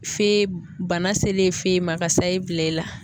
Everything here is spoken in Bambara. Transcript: Fe bana selen fe ma ka sayi bila i la.